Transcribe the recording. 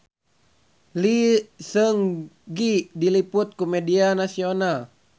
Lee Seung Gi diliput ku media nasional